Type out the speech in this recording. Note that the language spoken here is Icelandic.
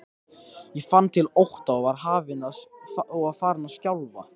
Ég fann til ótta og var farin að skjálfa.